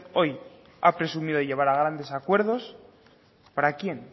hoy ha presumido de llegar a grandes acuerdos para quién